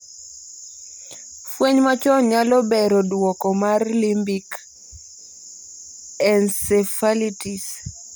Fueny machon nyalo bero duoko mar limbic encephalitis